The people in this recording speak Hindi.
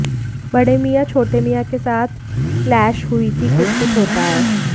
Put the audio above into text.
बड़े मियाँ छोटे मियाँ के साथ क्लैश हुई थी कुछ कुछ होता है